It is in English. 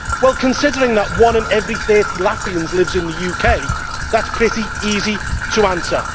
Well, considering that one in every 30 Latvians lives in the UK, that is pretty easy to answer.